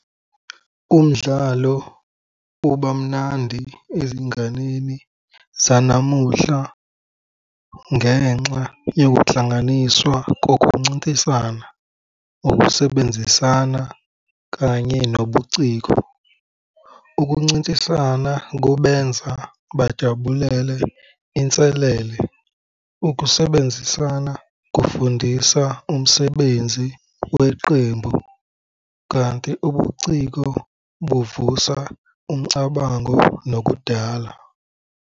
Umdlalo ubamnandi ezinganeni zanamuhla ngenxa yokuhlanganiswa kokuncintiswana, ukusebenzisana kanye nobuciko. Ukuncintisana kubenza bajabulele inselele. Ukusebenzisana kufundisa umsebenzi weqembu, kanti ubuciko buuvusa umcabango nokudala.